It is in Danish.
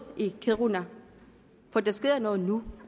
i kiruna for der sker noget nu